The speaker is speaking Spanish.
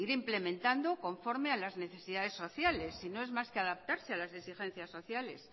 implementando conforme a las necesidades sociales si no es más que adaptarse a las exigencias sociales